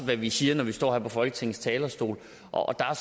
det vi siger når vi står på folketingets talerstol og der er